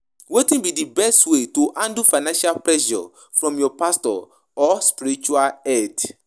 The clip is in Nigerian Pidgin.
Wetin be di best way to handle financial pressure from your pastor or spiritual head?